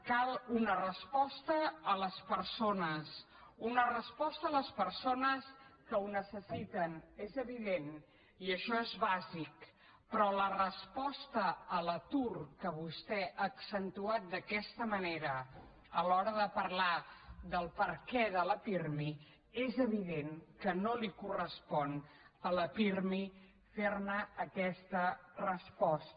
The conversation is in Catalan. cal una resposta a les persones una resposta a les persones que ho necessiten és evident i això és bàsic però la resposta a l’atur que vostè ha accentuat d’aquesta manera a l’hora de parlar del perquè de la pirmi és evident que no li correspon a la pirmi fer aquesta resposta